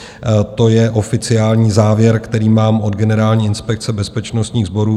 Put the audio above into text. To je oficiální závěr, který mám od Generální inspekce bezpečnostních sborů.